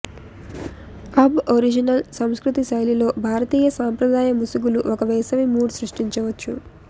Aboriginal సంస్కృతి శైలిలో భారతీయ సంప్రదాయ ముసుగులు ఒక వేసవి మూడ్ సృష్టించవచ్చు